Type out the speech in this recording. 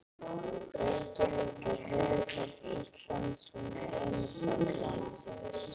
Reykjavík er höfuðborg Íslands. Hún er eina borg landsins.